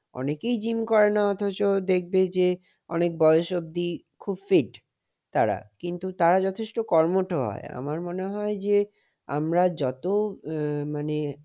অনেকেই gym করে না অথচ দেখবে যে, অনেক বয়স অবধি খুব fit তারা। কিন্তু তারা যথেষ্ট কর্মঠ হয়। আমার মনে হয় যে আমরা যত এ~মানে